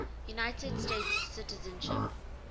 united states citizenship